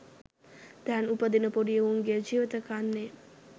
දැන් උපදින පොඩි එවුන්ගේ ජීවිත කන්නේ.